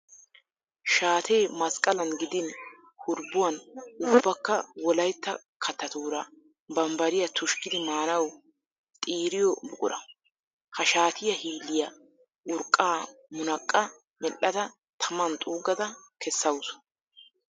Shaatee masqqalan gidin hurbbuwan ubbakka wolayitta kattatuura bambbariya tushkkidi maanawu xiiriyo buqura. Ha shaatiya hilliya urqqaa minaqqa mel'ada taman xuuggada kessaawusu.